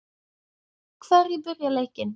Hverjir byrja leikinn?